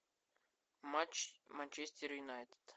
матч манчестер юнайтед